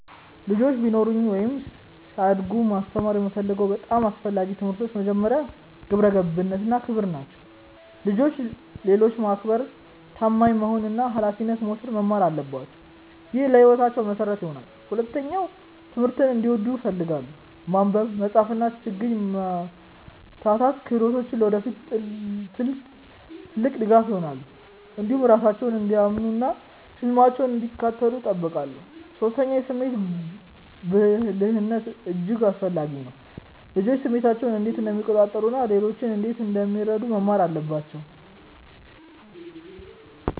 ልጆች ቢኖሩኝ ወይም ሲያድጉ ማስተማር የምፈልገው በጣም አስፈላጊ ትምህርቶች መጀመሪያ፣ ግብረ ገብነት እና ክብር ናቸው። ልጆች ሌሎችን ማክበር፣ ታማኝ መሆን እና ኃላፊነት መውሰድ መማር አለባቸው። ይህ ለሕይወታቸው መሠረት ይሆናል። ሁለተኛ፣ ትምህርትን እንዲወዱ እፈልጋለሁ። ማንበብ፣ መጻፍ እና ችግኝ መፍታት ክህሎቶች ለወደፊታቸው ትልቅ ድጋፍ ይሆናሉ። እንዲሁም ራሳቸውን እንዲያምኑ እና ህልማቸውን እንዲከተሉ እጠብቃለሁ። ሶስተኛ፣ የስሜት ብልህነት እጅግ አስፈላጊ ነው። ልጆች ስሜታቸውን እንዴት እንደሚቆጣጠሩ እና ሌሎችን እንዴት እንደሚረዱ መማር አለባቸው